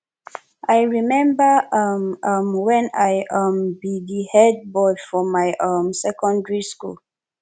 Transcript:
i rememba um um wen i um be di head boy for my um secondary school